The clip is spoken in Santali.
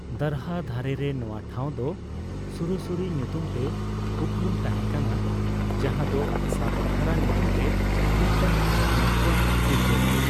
ᱫᱟᱨᱦᱟ ᱫᱷᱟᱨᱮᱨᱮ ᱱᱚᱣᱟ ᱴᱷᱟᱣᱫᱚ ᱥᱩᱨᱮᱥᱥᱚᱨᱤ ᱧᱩᱛᱩᱢ ᱛᱮ ᱩᱯᱨᱩᱢ ᱛᱟᱦᱮᱸ ᱠᱟᱱᱟ, ᱡᱟᱦᱟᱫᱚ ᱥᱟᱛᱫᱷᱟᱨᱟ ᱧᱩᱛᱩᱢ ᱛᱮ ᱢᱤᱫᱴᱟᱝ ᱡᱷᱟᱨᱱᱟ ᱠᱷᱚᱱ ᱥᱤᱨᱡᱟᱹᱣᱟ ᱾